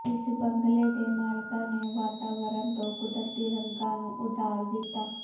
ਇਸ ਬੰਗਲੇ ਦੇ ਮਾਲਕਾਂ ਨੇ ਵਾਤਾਵਰਨ ਤੋਂ ਕੁਦਰਤੀ ਰੰਗਾਂ ਨੂੰ ਉਧਾਰ ਦਿੱਤਾ